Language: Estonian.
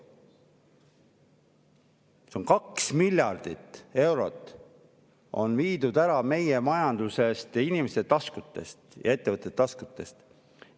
Aga 2 miljardit eurot on meie majandusest, inimeste ja ettevõtete taskust ära viidud.